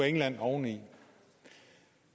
england oveni